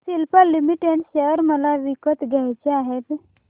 Cipla limited share मला विकत घ्यायचे आहेत